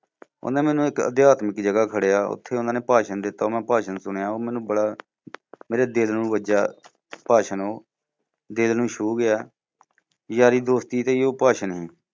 ਓਹਨੇ ਮੈਨੂੰ ਇੱਕ ਅਧਿਆਤਮਿਕ ਜਗ੍ਹਾ ਖੜ੍ਹਿਆ। ਉੱਥੇ ਉਨ੍ਹਾਂ ਨੇ ਭਾਸ਼ਣ ਦਿੱਤਾ ਉਹ ਮੈਂ ਭਾਸ਼ਣ ਸੁਣਿਆ ਉਹ ਮੈਨੂੰ ਬੜਾ, ਮੇਰੇ ਦਿਲ ਨੂੰ ਵੱਜਿਆ ਭਾਸ਼ਣ ਉਹ, ਦਿਲ ਨੂੰ ਛੂ ਗਿਆ। ਯਾਰੀ ਦੋਸਤੀ ਤੇ ਹੀ ਉਹ ਭਾਸ਼ਣ ਹੈ